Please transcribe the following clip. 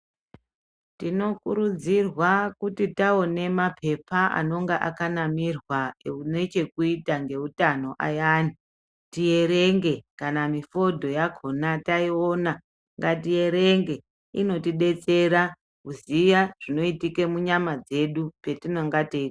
Tinokurudzirwa kuti taone mapepa anonga akanamirwa ane chekuita nehutano ayani tierenge kana mifodho yakona taiona ngatierenge inotidetsera kuziya zvinoitika munyama dzedu patinenge tei.